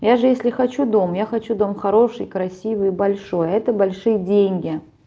я же если хочу дом я хочу дом хороший красивый большой а это большие деньги